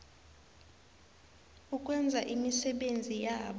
ukwenza imisebenzi yabo